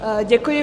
Děkuji.